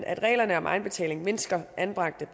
at reglerne om egenbetaling mindsker anbragte